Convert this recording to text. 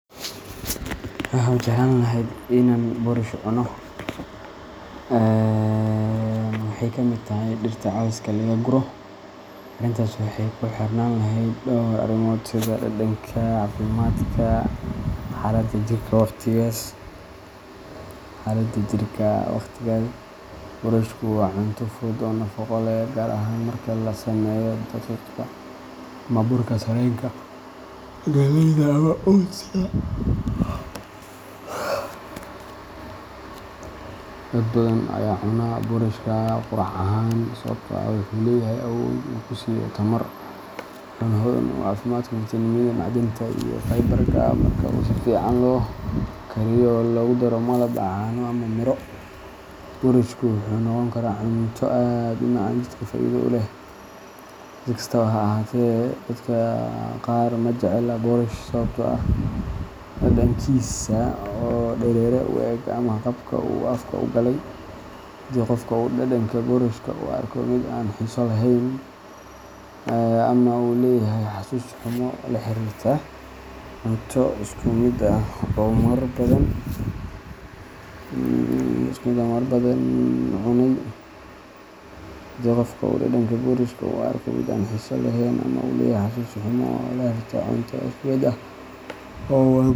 Ma jeclaan lahaa in aan boorash cuno? Waxey kamid tahay dhirta cawska laga guro. Arrintaas waxay ku xirnaan lahayd dhowr arrimood sida dhadhanka, caafimaadka, iyo xaaladda jirka waqtigaas. Boorashku waa cunto fudud oo nafaqo leh, gaar ahaan marka laga sameeyo daqiiqda ama burka sarreenka, galleyda, ama oats-ka. Dad badan ayaa u cunaa boorashka quraac ahaan sababtoo ah wuxuu leeyahay awood uu ku siiyo tamar, wuxuuna hodan ku yahay fiitamiinada, macdanta, iyo fiber-ka. Marka uu si fiican loo kariyo oo lagu daro malab, caano, ama miro, boorashku wuxuu noqon karaa cunto aad u macaan oo jidhka faa’iido u leh. Si kastaba ha ahaatee, dadka qaar ma jecla boorash sababtoo ah dhadhankiisa oo dareere u eg ama qaabka uu afka u galay. Haddii qofka uu dhadhanka boorashka u arko mid aan xiiso lahayn ama uu leeyahay xasuus xumo la xiriirta cunto isku mid ah oo uu marar badan cunay.